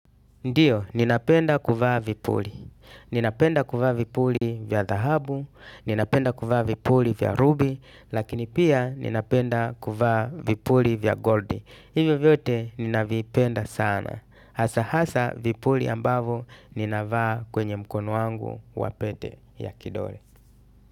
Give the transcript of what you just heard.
Ndiyo, ninapenda kuvaa vipuli. Ninapenda kuvaa vipuli vya dhahabu, ninapenda kuvaa vipuli vya rubi, lakini pia ninapenda kuvaa vipuli vya goldi. Hivo vyote ninavipenda sana. Hasa hasa vipuli ambavyo ninavaa kwenye mkono wangu wapete ya kidole.